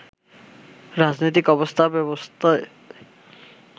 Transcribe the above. রাজনৈতিক অবস্থা ব্যবস্থায়